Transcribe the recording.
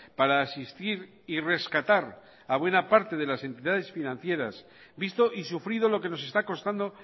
para asistir y rescatar a buena parte de las entidades financieras visto y sufrido lo que nos está costando